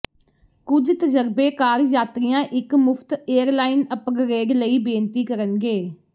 ਕੁਝ ਤਜਰਬੇਕਾਰ ਯਾਤਰੀਆਂ ਇੱਕ ਮੁਫਤ ਏਅਰਲਾਈਨ ਅਪਗ੍ਰੇਡ ਲਈ ਬੇਨਤੀ ਕਰਨਗੇ